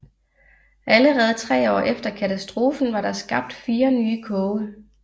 Allerede 3 år efter katastrofen var der skabt 4 nye koge